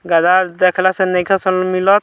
गदहा देखलास नइख सन मिलत।